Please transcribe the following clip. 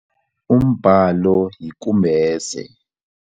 Umbhalo yikumbese.